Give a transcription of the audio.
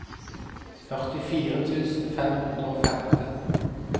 førtifire tusen fem hundre og femten